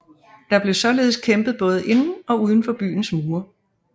Der blev således kæmpet både inden og uden for byens mure